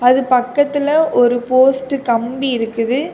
அது பக்கத்துல ஒரு போஸ்ட் கம்பி இருக்குது.